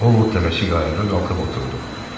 O Vod təlaşla ayağa qalxıb oturdu.